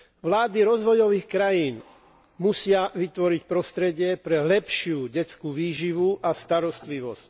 Vlády rozvojových krajín musia vytvoriť prostredie pre lepšiu detskú výživu a starostlivosť.